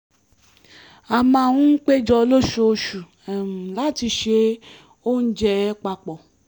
a máa ń péjọ lóṣooṣù láti se oúnjẹ papọ̀